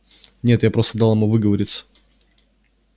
нет я просто дал ему выговориться